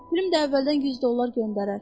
Pülüm də əvvəldən 100 dollar göndərər.